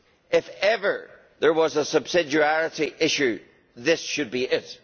If ever there was a subsidiarity issue, this should be it.